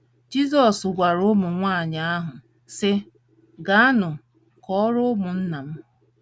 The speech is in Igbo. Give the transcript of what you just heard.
Jizọs gwara ụmụ nwaanyị ahụ, sị: “ Gaanụ kọọrọ ụmụnna m. ”